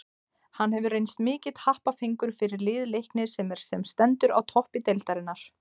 Hann hefur reynst mikill happafengur fyrir lið Leiknis sem er sem stendur á toppi deildarinnar.